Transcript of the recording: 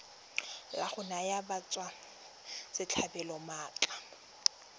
la go naya batswasetlhabelo maatla